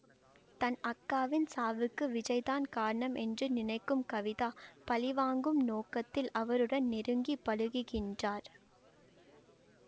தன் அக்காவின் சாவுக்கு விஜய் தான் காரணம் என்று நினைக்கும் கவிதா பழிவாங்கும் நோக்கத்தில் அவருடன் நெருங்கி பழகுகின்றார்